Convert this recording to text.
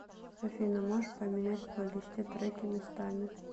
афина можешь поменять в плейлисте треки местами